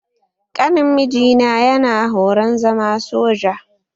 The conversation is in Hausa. Ƙanin mijina yana horon zama soja